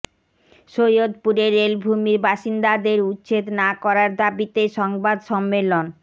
সৈয়দপুরে রেলভূমির বাসিন্দাদের উচ্ছেদ না করার দাবিতে সংবাদ সম্মেলন